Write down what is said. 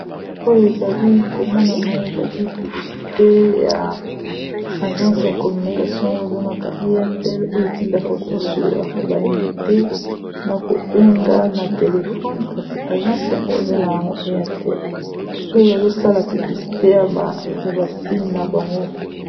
Oyo ezali ko monana, ezali publisite ya agence ya communication ; oyo ba bengaka AIRTEL, oyo etindaka batu ba solola ba inite na kobenga na telefone. Kasi, agence yango ba bengaka yango AIRTEL oyo ba zosala piblisite ya ba signe na bango.